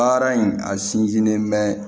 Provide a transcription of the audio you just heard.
Baara in a sinsinnen mɛ